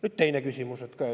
Nüüd teine küsimus.